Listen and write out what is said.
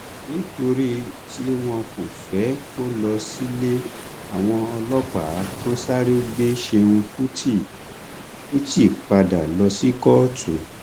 nítorí tí wọn kò fẹ kó lọ sílé àwọn ọlọpàá tún sáré gbé ṣẹun kùtì kùtì padà lọ sí kóòtù